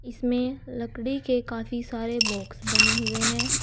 इसमें लकड़ी के काफी सारे बॉक्स बने हुए हैं।